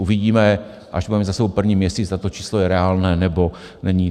Uvidíme, až budeme mít za sebou první měsíc, zda to číslo je reálné, nebo není.